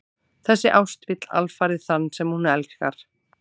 Þessi ást vill alfarið þann sem hún elskar.